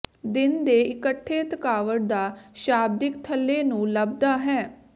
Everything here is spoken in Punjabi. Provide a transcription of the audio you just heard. ਦਿਨ ਦੇ ਇਕੱਠੇ ਥਕਾਵਟ ਦਾ ਸ਼ਾਬਦਿਕ ਥੱਲੇ ਨੂੰ ਲਭਦਾ ਹੈ